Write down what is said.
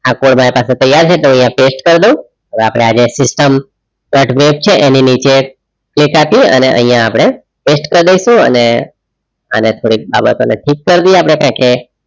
આ કોડ મારા પાસે તૈયાર છે તો post કરી દાવ હવે અપડે આજે cut break છે એની નીચે click આપી આઇયાહ અપડે post કાર ડાઈસુ અને આના થોડી બાબતો ઠીક કાર દઈએ આપડેપેકે